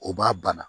O b'a bana